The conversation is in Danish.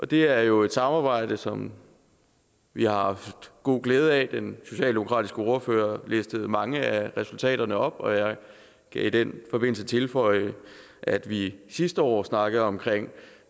det er jo et samarbejde som vi har haft god glæde af den socialdemokratiske ordfører læste mange af resultaterne op og jeg kan i den forbindelse tilføje at vi sidste år snakkede om